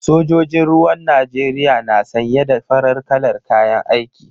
Sojojin ruwan Najeriya na sanye da farar kalar kayan aiki.